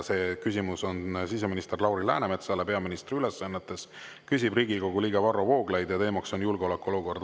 See küsimus on siseminister Lauri Läänemetsale peaministri ülesannetes, küsib Riigikogu liige Varro Vooglaid ja teema on julgeolekuolukord.